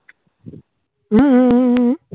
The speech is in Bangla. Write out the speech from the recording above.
হম হম হম